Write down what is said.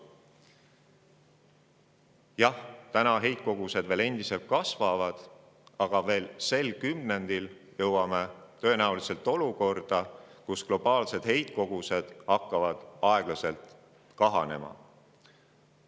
Jah, täna heitkogused veel endiselt kasvavad, aga veel sel kümnendil jõuame tõenäoliselt olukorda, kus globaalsed heitkogused hakkavad aeglaselt kahanema.